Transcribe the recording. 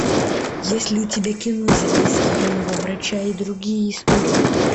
есть ли у тебя кино записки юного врача и другие истории